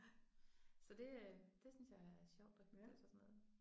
Så det øh det synes jeg er sjovt og hyggeligt og sådan noget